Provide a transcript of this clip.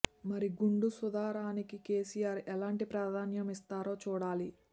మరి గుండు సుధా రాణికి కెసీఆర్ ఎలాంటి ప్రాధాన్యం ఇస్తారో చూడాలి